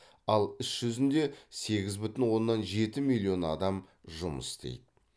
ал іс жүзінде сегіз бүтін оннан жеті миллион адам жұмыс істейді